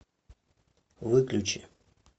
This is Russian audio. выключи